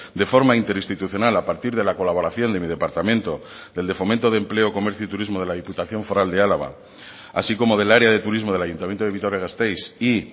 de forma interinstitucional a partir de la colaboración de mi departamento del de fomento de empleo comercio y turismo de la diputación foral de álava así como del área de turismo del ayuntamiento de vitoria gasteiz y